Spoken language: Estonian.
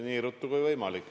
Nii ruttu kui võimalik.